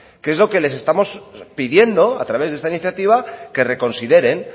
que es lo que les estamos pidiendo a través de esta iniciativa que reconsideren